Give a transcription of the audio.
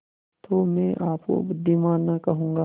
तो मैं आपको बुद्विमान न कहूँगा